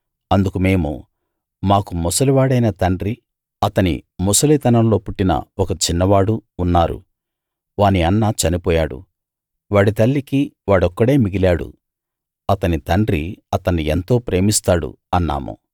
అందుకు మేము మాకు ముసలి వాడైన తండ్రి అతని ముసలితనంలో పుట్టిన ఒక చిన్నవాడు ఉన్నారు వాని అన్న చనిపోయాడు వాడి తల్లికి వాడొక్కడే మిగిలాడు అతని తండ్రి అతన్ని ఎంతో ప్రేమిస్తాడు అన్నాము